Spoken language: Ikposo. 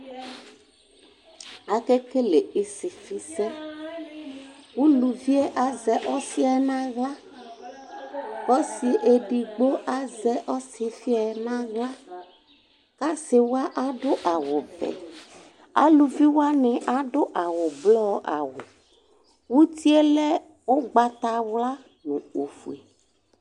Akekele isifisɛ, ʋlʋvie azɛ ɔsi yɛ nʋ aɣla, kʋ ɔsi edigbo azɛ ɔsifi yɛ nʋ aɣla Asiwa adʋ awʋvɛ, alʋviwani adʋ awʋblɔ, uti yɛlɛ ʋgbatawla nʋ ofue